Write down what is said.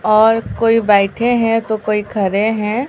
और कोई बैठे हैं तो कोई खड़े हैं।